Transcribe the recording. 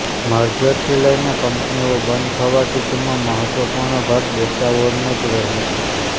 મર્જરથી લઇને કંપનીઓ બંધ થવા સુધીમાં મહત્વપૂર્ણ ભાગ ડેટા વોરનો જ રહ્યો છે